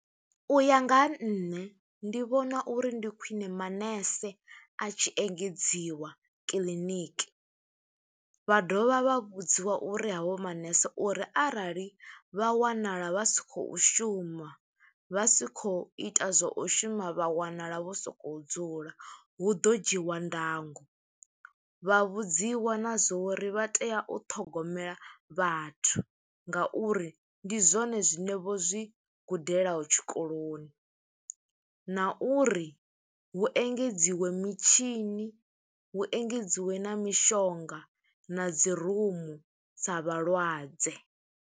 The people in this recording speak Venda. U ya nga ha nṋe, ndi vhona uri ndi khwiṋe manese a tshi engedziwa kiḽiniki, vha dovha vha vhudziwa uri havho manese, uri arali vha wanala vha si khou shuma, vha si khou ita zwo u shuma, vha wanala vho sokou dzula, hu ḓo dzhiwa ndango. Vha vhudziwa na zwo uri vha tea u ṱhogomela vhathu, nga uri ndi zwone zwine vho zwi gudelaho tshikoloni, na uri hu engedziwe mitshini, hu engedziwe na mishonga na dzi rumu dza vhalwadze.